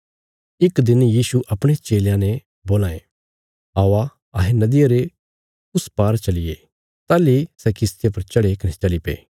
इक दिन यीशु अपणे चेलयां ने बोलां यें औआ अहें नदिया रे उस पार चलिये ताहली सै किश्तिया पर चढ़े कने चलीपे